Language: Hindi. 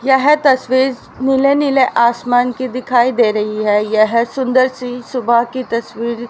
यह तस्वीर नीले नीले आसमान की दिखाई दे रही है यह सुंदर सी सुबह की तस्वीर--